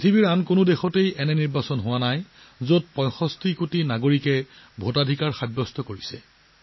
বিশ্বৰ কোনো দেশতে কেতিয়াও ইমান ডাঙৰ নিৰ্বাচন হোৱা নাই য'ত ৬৫ কোটি লোকে নিজৰ ভোটাধিকাৰ সাব্যস্ত কৰিছে